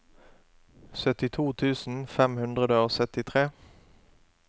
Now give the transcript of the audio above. syttito tusen fem hundre og syttitre